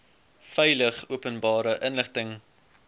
veilig openbare inligting